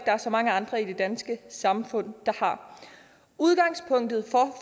er så mange andre i det danske samfund der har udgangspunktet